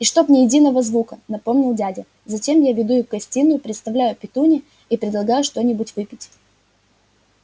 и чтоб ни единого звука напомнил дядя затем я веду их в гостиную представляю петунье и предлагаю что-нибудь выпить